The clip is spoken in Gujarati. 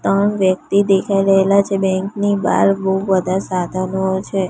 ત્રણ વ્યક્તિ દેખાય રહેલા છે બેંક ની બાર બૌ બધા સાધનો છે.